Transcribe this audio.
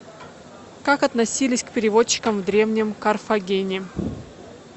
как относились к переводчикам в древнем карфагене